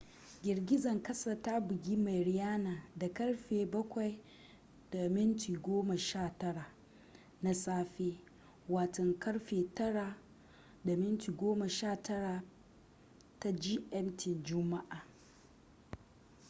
girgizan kasa ta bugi mariana da karfe 07:19 na safe 09:19 p.m. gmt juma’a